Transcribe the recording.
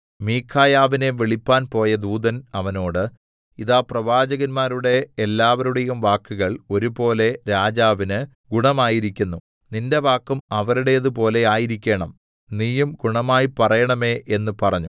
മീഖായാവിനെ വിളിപ്പാൻ പോയ ദൂതൻ അവനോട് ഇതാ പ്രവാചകന്മാരുടെ എല്ലാവരുടെയും വാക്കുകൾ ഒരുപോലെ രാജാവിന് ഗുണമായിരിക്കുന്നു നിന്റെ വാക്കും അവരുടേതുപോലെ ആയിരിക്കേണം നീയും ഗുണമായി പറയേണമേ എന്ന് പറഞ്ഞു